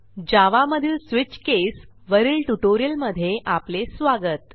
जावा मधील switch case वरील ट्युटोरियलमध्ये आपले स्वागत